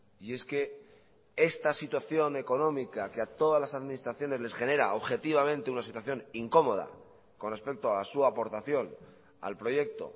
y es que esta situación económica que a todas las administraciones les genera objetivamente una situación incómoda con respecto a su aportación al proyecto